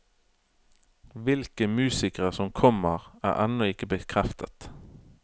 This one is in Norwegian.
Hvilke musikere som kommer, er ennå ikke bekreftet.